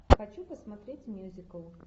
хочу посмотреть мюзикл